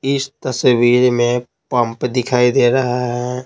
इस तस्वीर में पंप दिखाई दे रहा है।